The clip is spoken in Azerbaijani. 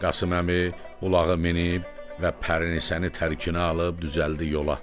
Qasım əmi ulağa minib və pərinisəni tərkinə alıb düzəldi yola.